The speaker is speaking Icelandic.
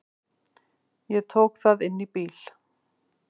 Ég tók það inn í bíl.